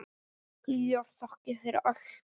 Hlýjar þakkir fyrir allt.